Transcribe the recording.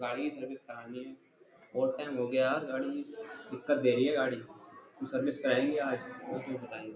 गाड़ी सर्विस करानी है बहुत टाइम हो गया यार गाड़ी दिक्कत दे रही है गाड़ी सर्विस कराएंगे आज --